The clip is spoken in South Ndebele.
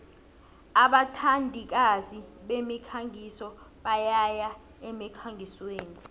abathandikazi bemikhangiso bayaya emkhangisweni